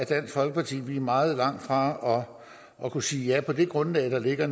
dansk folkeparti er meget langt fra at kunne sige ja altså på det grundlag der ligger